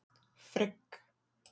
Frigg